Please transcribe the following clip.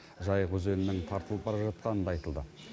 жайық өзенінің тартылып бара жатқаны да айтылды